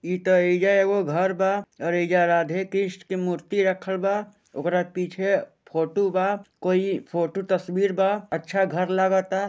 ई ता यहिजा एगो घर बा यहिजा राधेकृष्ण के मूर्ति रखल बा ओकरा पीछे फोटू बा कोई फोटू तस्वीर बा अच्छा घर लगाता।